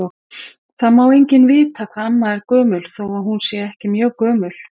Það má enginn vita hvað amma er gömul þó að hún sé ekkert mjög gömul.